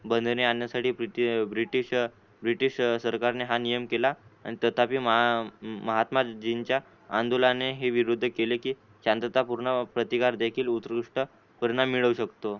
बंधने आणण्यासाठी British British सरकारने हा नियम केला आणि तथापि महात्माजींच्या आंदोलनाने ही विरोध केली की शांततापूर्ण प्रतिकार देखील उत्कृष्ट परिणाम मिळवू शकतो.